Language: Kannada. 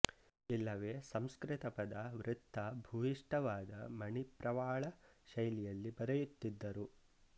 ಇಲ್ಲವೆ ಸಂಸ್ಕೃತ ಪದ ವೃತ್ತ ಭೂಯಿಷ್ಠವಾದ ಮಣಿಪ್ರವಾಳ ಶೈಲಿಯಲ್ಲಿ ಬರೆಯುತ್ತಿದ್ದರು